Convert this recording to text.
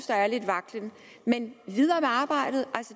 der er lidt vaklen men videre med arbejdet